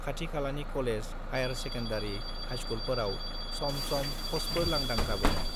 खाथि-खालानि college, higher secondary, हाइस्कुलफोराव सम-सम प'स्टफोर लांदां जाबोदों।